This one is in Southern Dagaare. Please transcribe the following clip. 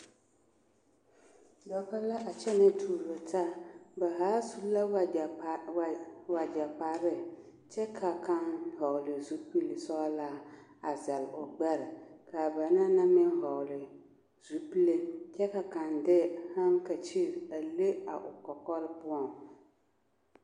Dɔbɔ la a kyɛnɛ tuuro taa ba haa su la wagyɛ kpar wagyɛ kparre kyɛ ka kaŋ hɔɔli zupil sɔglaa a zɛle o gbɛre kaa banaŋ na meŋ hɔɔli zupile kyɛ ka kaŋ de haŋkakyif a le a o kɔkɔre poɔŋ.